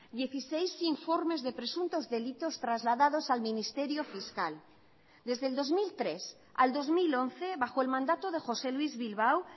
dieciséis informes de presuntos delitos trasladados al ministerio fiscal desde el dos mil tres al dos mil once bajo el mandato de josé luís bilbao